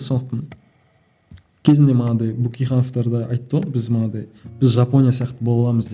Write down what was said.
сондықтан кезінде манағыдай бөкейхановтар да айтты ғой біз манағыдай біз жапонния сияқты бола аламыз деп